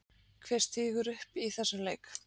Hver stígur upp í þessum leik?